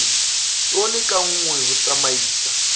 tone ka nngwe ho tsamaisa